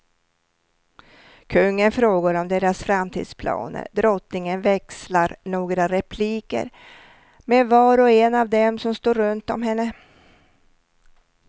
Kungen frågar om deras framtidsplaner, drottningen växlar några repliker med var och en av dem som står runtom henne.